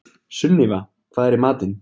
Sunníva, hvað er í matinn?